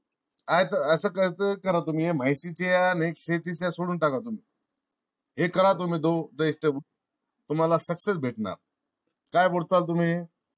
काय अस कस करा तुम्ही माहितीच्या आणि शेतीच्या सोडून टाका तुम्ही ते करा तुम्ही तुम्हाला success भेटणार. काय बोलता तुम्ही?